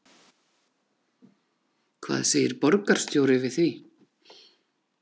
Hvað segir borgarstjóri við því?